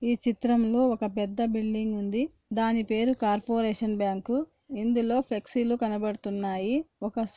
ఈ చిత్రం లో ఒక్క పెద్ద బిల్డింగ్ ఉంది దాని పేరు కార్పొరేషన్ బ్యాంకు ఇందులో ఫ్లెక్సీ లు కనబతున్నాయి ఒక్క --